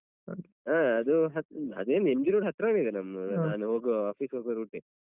ಹಾ, ಅದು ಅದೇನು MG road ಹತ್ರವೇ ನಾನ್ ಹೋಗುವ office ಹೋಗುವ route ಎ.